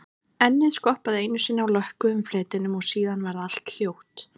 Ennið skoppaði einu sinni á lökkuðum fletinum og síðan varð allt hljótt.